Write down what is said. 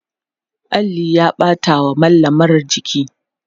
alli ya ɓata wa mallamar jiki